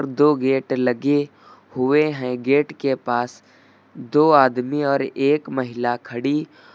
दो गेट लगे हुए हैं गेट के पास दो आदमी और एक महिला खड़ी--